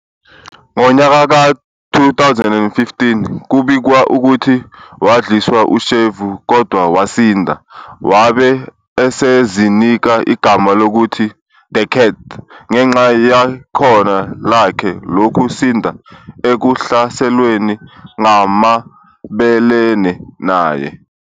Ngonyaka ka 2015, kubikwa ukuthi wadliswa ushevu kodwa wasinda, wabe esezinika igama lokuthi "The Cat" ngenxa yekhono lakhe loku sinda ekuhlaselweni ngabamelene naye.